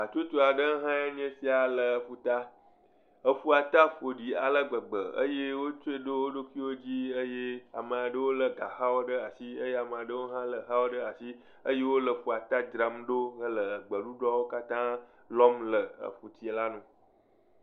Hatsotso aɖe ha nye sia le ƒuta eƒua ta ƒoɖi alegbegbe eye wotsɔe ɖo woɖokuiwo dzi ame aɖewo le gaxawo le asi eye ame aɖewo ha le exawo ɖe asi eye wole ƒua ta dzram ɖo hele gbeɖuɖɔwo katã lɔm le ƒutsia la nu